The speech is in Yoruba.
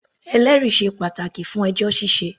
Ẹlẹ́rìí sé pàtàkì fún ẹjọ́ ṣíṣẹ.